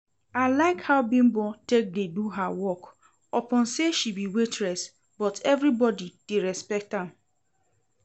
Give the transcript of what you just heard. I like how Bimbo take dey do her work, upon say she be waitress but everybody dey respect am